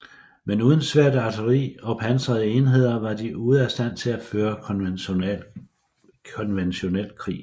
Men uden svært artilleri og pansrede enheder var de ude af stand til at føre konventionel krig